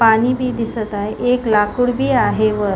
पाणी भी दिसत आहे एक लाकूड भी आहे वर --